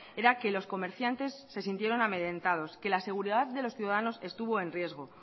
era que los comerciantes se sintieron amedrentados que la seguridad de los ciudadanos estuvo en riesgo